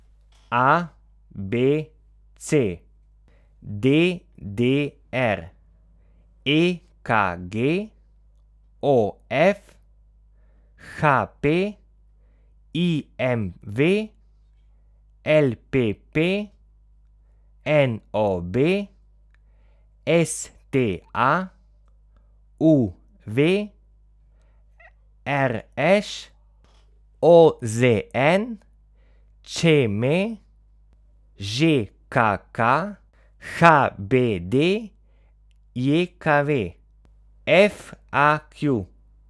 A B C; D D R; E K G; O F; H P; I M V; L P P; N O B; S T A; U V; R Š; O Z N; Č M; Ž K K; H B D J K V; F A Q.